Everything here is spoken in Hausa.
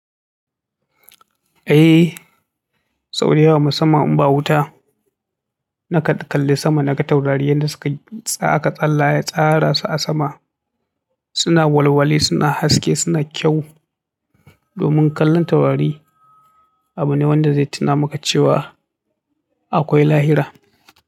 Eh, Saudwaw musamman in ba wuta na kan kalli sama, na ga taurari yadda suka tsaka tsalla tsarara su a sama. Suna walwali, suna haske, suna kyau. Domin kallan taurari abu ne wanda zai tuna maka cewa akwai lahira.